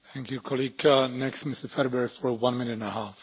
Herr Präsident, Herr Kommissar, liebe Kolleginnen, liebe Kollegen!